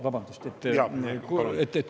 Vabandust!